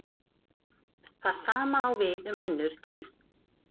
það sama á við um önnur dýr